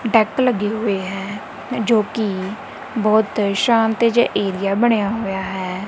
Duck ਲੱਗੇ ਹੋਏ ਹੈ ਜੋ ਕਿ ਬਹੁਤ ਸ਼ਾਂਤ ਜਿਹਾ ਏਰੀਆ ਬਣਿਆ ਹੋਇਆ ਹੈ।